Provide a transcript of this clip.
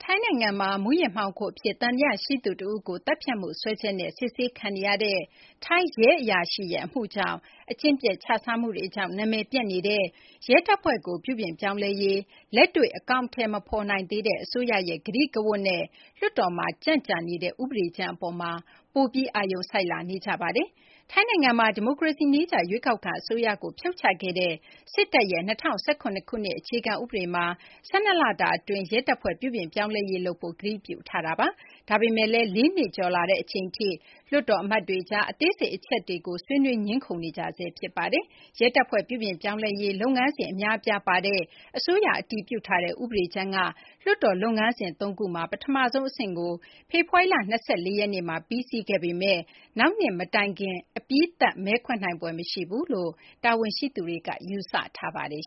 ိုင်းနိုင်ငံမှာ မူးယစ်မှောင်ခိုအဖြစ် သံသယရှိသူတဦးကို သတ်ဖြတ်မှု စွဲချက်နဲ့ စစ်ဆေးခံနေရတဲ့ ထိုင်းရဲအရာရှိရဲ့ အမှုကြောင့် အကျင့်ပျက် ခြစားမှုတွေကြောင့် နာမည်ပျက်နေတဲ့ ရဲတပ်ဖွဲ့ကို ပြုပြင်ပြောင်းလဲရေး လက်တွေ့ အကောင်အထည် မဖော်နိုင်သေးတဲ့ အစိုးရရဲ့ ကတိကဝတ်နဲ့ လွှတ်တော်မှာ ကြန့်ကြာနေတဲ့ ဥပဒေကြမ်းအပေါ်မှာ ပိုပြီး အာရုံစိုက်လာနေကြပါတယ်။ ထိုင်းနိုင်ငံမှာ ဒီမိုကရေစီနည်းကျ ရွေးကောက်ခံ အစိုးရကို ဖြုတ်ချခဲ့တဲ့ စစ်တပ်ရဲ့ ၂၀၁၇ ခုနှစ် အခြေခံဥပဒေမှာ ၁၂ လတာအတွင်း ရဲတပ်ဖွဲ့ ပြုပြင်ပြောင်းလဲရေး လုပ်ဖို့ ကတိပြုထားတာပါ။ ဒါပေမယ့်လည်း ၄ နှစ်ကျော်လာတဲ့ အချိန်ထိ လွှတ်တော်အမတ်တွေကြား အသေးစိတ် အချက်တွေကို ဆွေးနွေး ငြင်းခုံနေကြဆဲ ဖြစ်ပါတယ်။ ရဲတပ်ဖွဲ့ ပြုပြင်ပြောင်းလဲရေး လုပ်ငန်းစဉ် အများအပြားပါတဲ့ အစိုးရ အတည်ပြုထားတဲ့ ဥပဒေကြမ်းက လွှတ်တော်လုပ်ငန်းစဉ် ၃ ခုမှာ ပထမဆုံးအဆင့်ကို ဖေဖော်ဝါရီလ ၂၄ ရက်နေ့မှာ ပြီးစီးခဲ့ပေမယ့်လည်း နောက်နှစ်မတိုင်ခင် အပြီးသတ် မဲခွဲနိုင်ဖွယ် မရှိဘူးလို့ တာဝန်ရှိသူတွေက ယူဆထားပါတယ်